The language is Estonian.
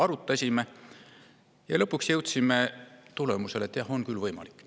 Arutasime ja lõpuks jõudsime tulemusele, et on küll võimalik.